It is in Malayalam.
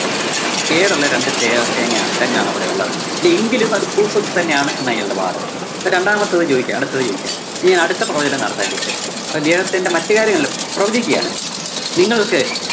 കേടൊള്ള രണ്ടു തേ~തേങ്ങയാണ് തെങ്ങാണ് അവിടെയൊള്ളത്. എങ്കിലും അത് ഭൂസ്വത്ത് തന്നെയാണ് എന്നയാളുടെ വാദം. അപ്പോ രണ്ടാമത്തത് ചോദിക്കാ, അടുത്തത്‌ ചോദിക്കാൻ, ഇനി അടുത്ത പ്രവചനം നടത്താല്ലേ ഇതിനെപ്പറ്റി അപ്പോ ഇദ്ദേഹത്തിന്റെ മറ്റ് കാര്യങ്ങളിലും പ്രവചിക്കുകയാണ്. നിങ്ങൾക്ക്